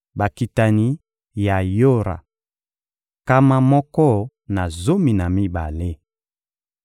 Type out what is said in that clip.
Bakitani ya Yora: nkama moko na zomi na mibale.